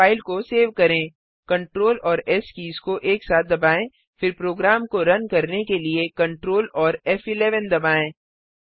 अब फाइल को सेव करें Ctrl और एस कीज को एक साथ दबाएँ फिर प्रोग्राम को रन करने के लिए Ctrl और फ़11 दबाएँ